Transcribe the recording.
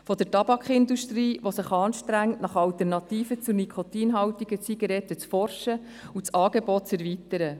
Die Tabakindustrie strengt sich an, nach Alternativen zur nikotinhaltigen Zigarette zu forschen, um das Angebot zu erweitern.